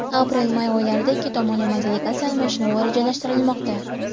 Aprel-may oylarida ikki tomonlama delegatsiya almashinuvi rejalashtirilmoqda.